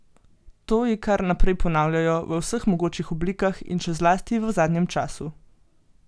To ji kar naprej ponavljajo v vseh mogočih oblikah, in še zlasti v zadnjem času.